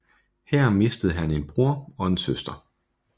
Her mistede han en bror og en søster